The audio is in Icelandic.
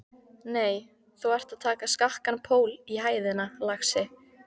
Nei, þú ert að taka skakkan pól í hæðina, lagsi.